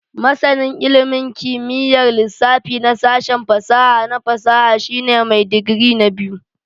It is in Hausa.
Masanin ilimin kimiyyar lissafi na sashen fasaha na fasaha shine mai digiri na biyu